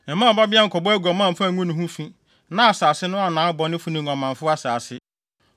“ ‘Mma wo babea nkɔbɔ aguaman mfa ngu ne ho fi na asase no annan abɔnefo ne nguamanfo asase.